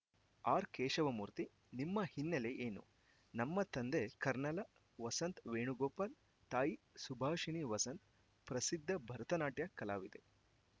R Keshavamurthy ನಿಮ್ಮ ಹಿನ್ನೆಲೆ ಏನು ನಮ್ಮ ತಂದೆ ಕರ್ನಲ ವಸಂತ್‌ ವೇಣುಗೋಪಾಲ್‌ ತಾಯಿ ಸುಭಾಷಿಣಿ ವಸಂತ್‌ ಪ್ರಸಿದ್ಧ ಭರತನಾಟ್ಯ ಕಲಾವಿದೆ